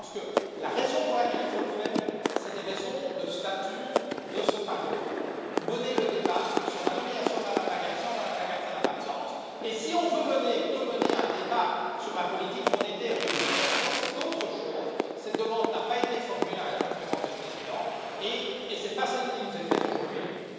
Mais je pense que la raison pour laquelle il faut le faire, c'est une raison de stature de ce Parlement. Mener le débat sur la nomination de Mme Lagarde sans Mme Lagarde, ça n'a pas de sens et si on veut mener un débat sur la politique monétaire de l'Union, alors c'est autre chose, cette demande n'a pas été formule à la conférence des présidents et ce n'est pas celle qui nous est faite aujourd'hui non plus.